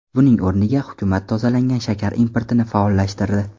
Buning o‘rniga, hukumat tozalangan shakar importini faollashtirdi.